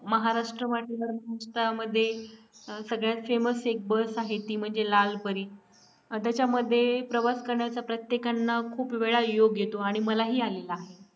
महाराष्ट्र वाटेवर संस्थांमध्ये सगळ्यात famous एक बस आहे ती म्हणजे लाल परी त्याच्यामध्ये प्रवास करण्याचा प्रत्येकांना खूप वेळा योग येतो आणि मलाही आलेला